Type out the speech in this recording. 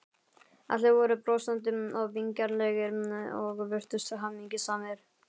Allir voru brosandi og vingjarnlegir og virtust hamingjusamir.